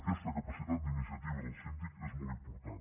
aquesta capacitat d’iniciativa del síndic és molt important